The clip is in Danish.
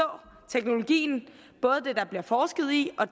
teknologien både den der bliver forsket i og